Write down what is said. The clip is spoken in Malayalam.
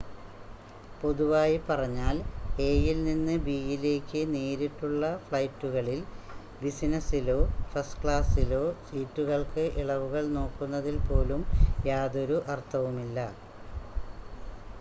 പൊതുവായി പറഞ്ഞാൽ എ-യിൽ നിന്ന് ബി-യിലേക്ക് നേരിട്ടുള്ള ഫ്ലൈറ്റുകളിൽ ബിസിനസ്സിലോ ഫസ്റ്റ് ക്ലാസ്സിലോ സീറ്റുകൾക്ക് ഇളവുകൾ നോക്കുന്നതിൽ പോലും യാതൊരു അർത്ഥവുമില്ല